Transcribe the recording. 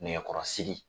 Nɛgɛkɔrɔsigi